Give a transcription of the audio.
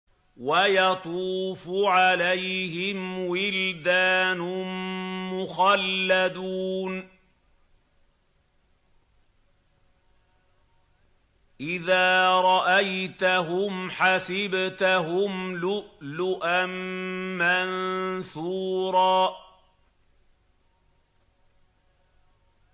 ۞ وَيَطُوفُ عَلَيْهِمْ وِلْدَانٌ مُّخَلَّدُونَ إِذَا رَأَيْتَهُمْ حَسِبْتَهُمْ لُؤْلُؤًا مَّنثُورًا